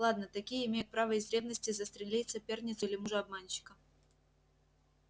ладно такие имеют право из ревности застрелить соперницу или мужа-обманщика